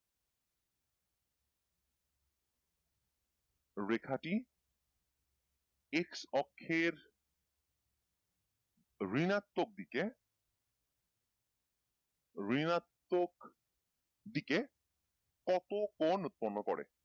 রেখাটি x অক্ষের ঋণাত্বক দিকে ঋনাত্মক দিকে কত কোণ উৎপন্ন করে,